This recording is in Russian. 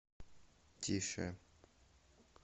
тише